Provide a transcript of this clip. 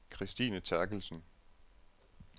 Kristine Therkelsen